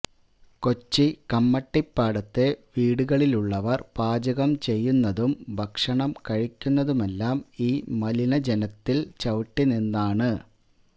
കൊച്ചി കമ്മട്ടിപ്പാടത്തെ വീടുകളിലുള്ളവര് പാചകം ചെയ്യുന്നതും ഭക്ഷണം കഴിക്കുന്നതുമെല്ലാം ഈ മലിനജലത്തില് ചവിട്ടി നിന്നാണ്